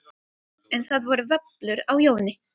En það voru vöflur á Jóni